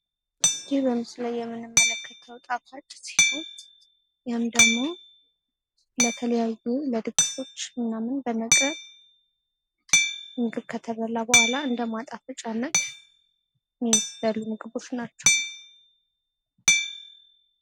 ይህ በምስሉ ላይ የምንመለከተው ጣፋጭ ሲሆን ወይም ደግሞ ለተለያዩ ለድግሶች ምናምን በመቅረብ ምግብ ከተበላ በኋላ እንደማጣፈጫነት የሚበሉ ምግቦች ናቸው።